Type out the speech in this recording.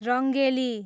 Rangeli